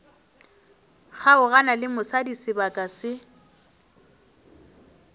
kgaogana le mosadi sebaka se